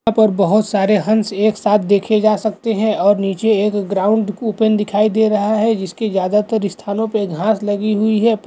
यहाँ पर बहोत सारे हंस एक साथ देखे जा सकते हैं और नीचे एक ग्राउंड कूपन दिखाई दे रहा है जिसकी ज्यादातर स्थानों पे घांस लगी हुई है।